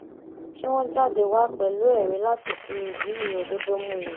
kí wọn jáde wá pẹlú ẹrí láti fìdí òdodo múlẹ